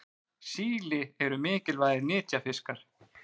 síli eru mikilvægir nytjafiskar